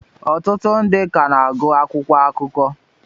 ọtụtụ ndị ka na-agụ akwụkwọ akụkọ